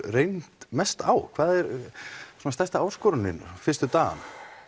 reynt mest á hvað er stærsta áskorunin fyrstu dagana